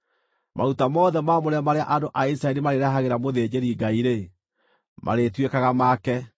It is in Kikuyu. Maruta mothe maamũre marĩa andũ a Isiraeli marĩrehagĩra mũthĩnjĩri-Ngai-rĩ, marĩtuĩkaga make.